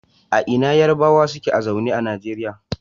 A ina Yarbawa suke zaune a Nigeria?